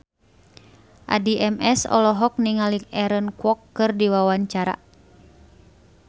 Addie MS olohok ningali Aaron Kwok keur diwawancara